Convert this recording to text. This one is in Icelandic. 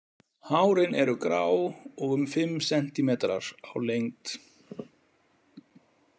Hárin eru grá og um fimm sentimetrar á lengd.